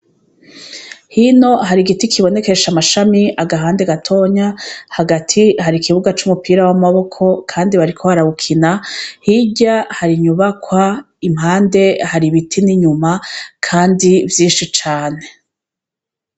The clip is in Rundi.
Hino hari igiti kibonkesha amashami agahande gatoya. Hagati hari ikibuga c'umupira w'amaboko kandi bariko barawukina. Hirya hari inyubakwa, impande hari ibiti n'inyuma kandi vyinshi cane